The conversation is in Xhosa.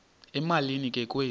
emalini ke kwezi